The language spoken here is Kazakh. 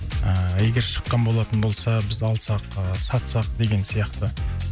ыыы егер шыққан болатын болса біз алсақ ыыы сатсақ деген сияқты